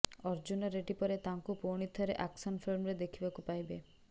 ଅର୍ଜୁନ ରେଡ୍ଡୀ ପରେ ତାଙ୍କୁ ପୁଣିଥରେ ଆକ୍ସନ ଫିଲ୍ମରେ ଦେଖିବାକୁ ପାଇବେ